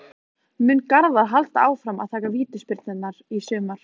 Mun Garðar halda áfram að taka vítaspyrnurnar í sumar?